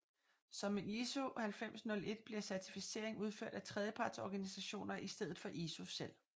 Som med ISO 9001 bliver certificering udført af tredjepartsorganisationer i stedet for ISO selv